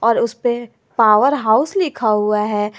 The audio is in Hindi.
और उस पे पावर हाउस लिखा हुआ है।